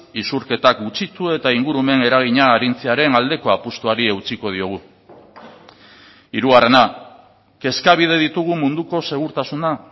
isurketak gutxitu eta ingurumen eragina arintzearen aldeko apustuari eutsiko diogu hirugarrena kezkabide ditugu munduko segurtasuna